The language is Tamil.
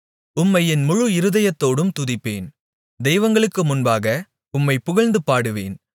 உம்மை என் முழு இருதயத்தோடும் துதிப்பேன் தெய்வங்களுக்கு முன்பாக உம்மைப் புகழ்ந்து பாடுவேன்